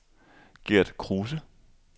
Gert Kruse